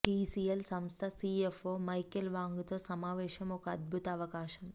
TCL సంస్థ CFO Michael Wang తో సమావేశం ఒక అద్భుత అవకాశం